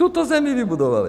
Tuto zemi vybudovali.